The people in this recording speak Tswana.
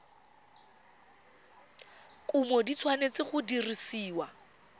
kumo di tshwanetse go dirisiwa